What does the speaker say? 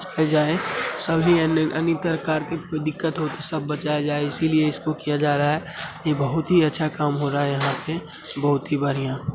सभी दिक्क्त हो तो सब बचाया जाये इसीलिए इसको किया जा रहा है| बहोत ही अच्छा काम हो रहा है यहाँ पे | बहोत ही बढ़ियां।